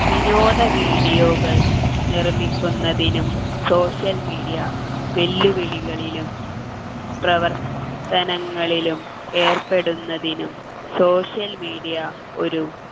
വിനോദ video കൾ നിർമ്മിക്കുന്നതിനും social media വെല്ലുവിളികളിലും പ്രവർത്തനങ്ങളിലും ഏർപ്പെടുന്നതിനും social media ഒരു